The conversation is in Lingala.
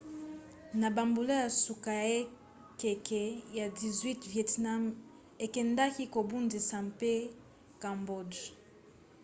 na bambula ya suka ya ekeke ya 18 vietnam ekendaki kobundisa mpe cambodge